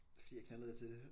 Fordi jeg knaldede til det